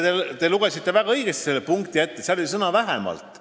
Te lugesite memorandumi punkti väga õigesti ette: seal on tõesti kasutatud sõna "vähemalt".